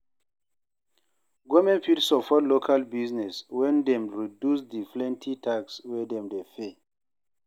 Government fit support local business when dem reduce di plenty tax wey dem de pay